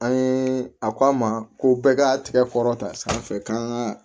An ye a ko an ma ko bɛɛ ka tigɛ kɔrɔta sanfɛ k'an ka